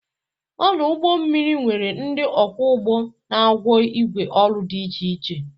Ọdụ ụgbọ mmiri nwere ndị ọkwọ ụgbọ na agwọ igwe ọrụ dị iche iche.